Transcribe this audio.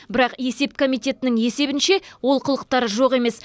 бірақ есеп комитетінің есебінше олқылықтар жоқ емес